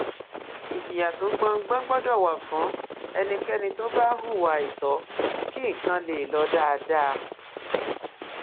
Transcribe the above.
ìjìyà tó gbópọn gbọdọ wà fún ẹnikẹni tó bá hùwà àìtọ kí nǹkan lè lọ dáadáa